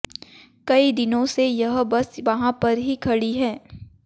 कई दिनों से यह बस वहां पर ही खड़ी है